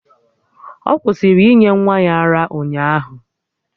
Ọ kwụsịrị inye nwa ya ara ụnyaahụ